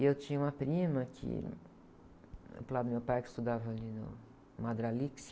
E eu tinha uma prima que, do lado do meu pai, que estudava ali no,